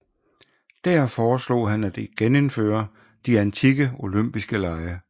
Dér foreslog han at genindføre de antikke olympiske lege